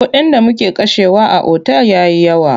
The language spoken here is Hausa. Kuɗin da muke kashewa a otal ya yi yawa.